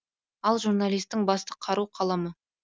ал журналисттің басты қару қаламы